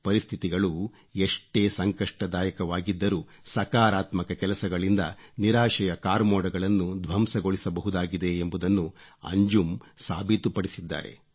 ಪರಿಸ್ಥಿತಿಗಳು ಎಷ್ಟೇ ಸಂಕಷ್ಟದಾಯಕವಾಗಿದ್ದರೂ ಸಕಾರಾತ್ಮಕ ಕೆಲಸಗಳಿಂದ ನಿರಾಶೆಯ ಕಾರ್ಮೊಡಗಳನ್ನು ಧ್ವಂಸಗೊಳಿಸಬಹುದಾಗಿದೆ ಎಂಬುದನ್ನು ಅಂಜುಂ ಸಾಬೀತುಪಡಿಸಿದ್ದಾರೆ